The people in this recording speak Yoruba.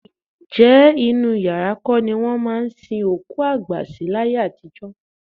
Ǹjẹ́ inú yàrá kọ́ ni wọ́n máa ń sin òkú àgbà sí láyé àtijọ́?